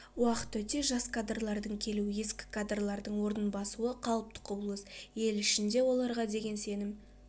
уақыт өте жас кадрлардың келу ескі кадрлардың орнын басуы қалыпты құбылыс ел ішінде оларға деген сенім